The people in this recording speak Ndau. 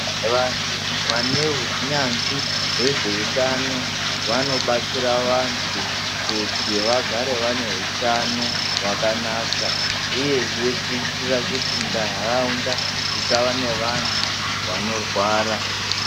Vantu vane hunyanzvi wezve utano , vanobatsira vantu kuti vagare vane hutano hwakanaka uyezve kuitira kuti , ntaraunda dzisava nevanhu vonorwara.